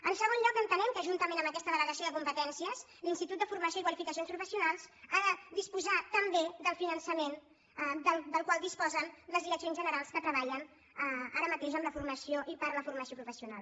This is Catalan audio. en segon lloc entenem que juntament amb aquesta delegació de competències l’institut de formació i qualificacions professionals ha de disposar també del finançament del qual disposen les direccions generals que treballen ara mateix amb la formació i per la formació professional